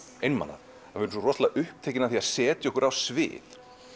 einmana við erum svo upptekin af því að setja okkur á svið